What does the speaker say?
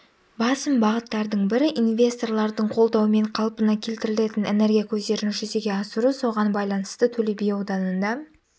басым бағыттардың бірі инвесторлардың қолдауымен қалпына келтірілетін энергия көздерін жүзеге асыру соған байланысты төле би ауданында